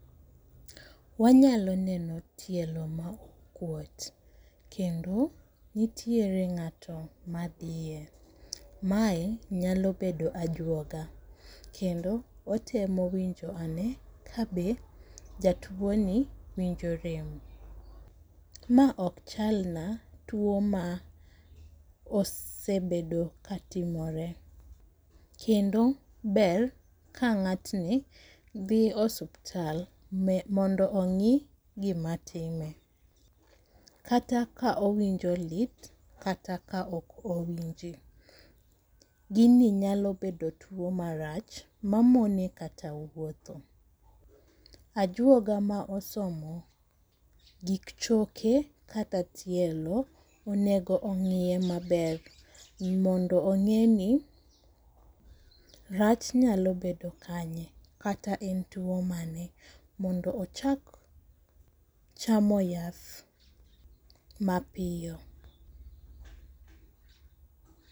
Wanyalo neno tielo ma okuot kendo nitiere ng'ato madiye, mae nyalo bedo ajuoga, kendo otemo winjo ane kabe jatuwoni winjo rem. Ma ok chalna tuwo ma osebedo katimore, kendo ber ka ng'atni dhi osuptal mondo ong'i gimatime. Kata ka owinjo lit, kata ka ok owinji, gini nyalo bedo tuwo marach ma mone kata wuotho. Ajuoga ma osomo gik choke kata tielo onego ong'iye maber mondo ong'eni rach nyalo bedo kanye, kata en tuwo mane mondo ochak chamo yath mapiyo.